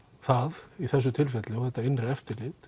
það í þessu tilfelli og þetta innra eftirlit